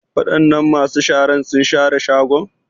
Wadanan masu sharar sun share shagon?